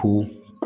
Ko